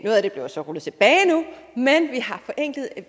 det bliver så rullet tilbage nu men